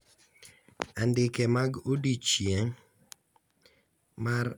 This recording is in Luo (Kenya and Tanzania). Andike mar odiochieng' mar morni nyiso ni